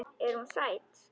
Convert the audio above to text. Er hún sæt?